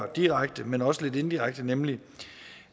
direkte men også lidt indirekte nemlig